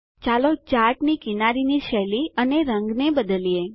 ચાલો ચાર્ટની કિનારીની શૈલી અને રંગને બદલી કરીએ